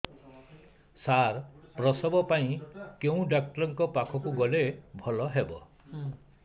ସାର ପ୍ରସବ ପାଇଁ କେଉଁ ଡକ୍ଟର ଙ୍କ ପାଖକୁ ଗଲେ ଭଲ ହେବ